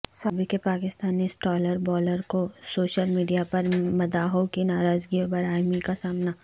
سابق Pakistani star bowler کو social media پر مداحوں کی ناراضگی و برہمی کا سامنا